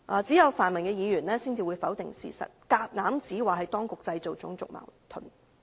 只有泛民議員才會否定事實，硬指當局製造種族矛盾。